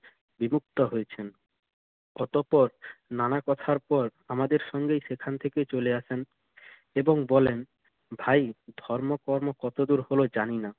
বিভুক্ত হয়েছেন। অতঃপর নোনা কথার পর আমাদের সঙ্গেই সেখান থেকে চলে আসেন এবং বলেন, ভাই ধর্ম-কর্ম কতদূর হলো জানি না।